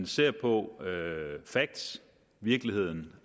ser på facts virkeligheden